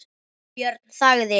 Björn þagði.